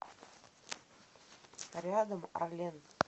рядом арлен